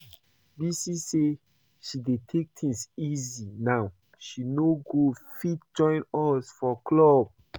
Bisi say she dey take things easy now so she no go fit join us for club